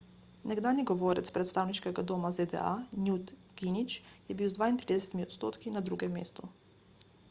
nekdanji govorec predstavniškega doma zda newt gingrich je bil z 32 odstotki na drugem mestu